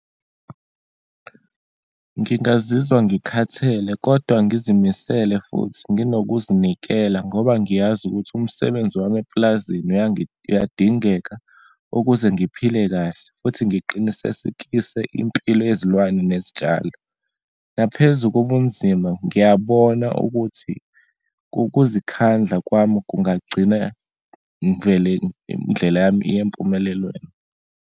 Ngingazizwa ngikhathele, kodwa ngizimisele futhi nginokuzinikela ngoba ngiyazi ukuthi umsebenzi wami epulazini uyadingeka, ukuze ngiphile kahle, futhi ngiqinisesekise impilo yezilwane nezitshalo. Naphezu kobunzima, ngiyabona ukuthi kukuzikhandla kwami kungagcina ngivele indlela yami iye empumelelweni.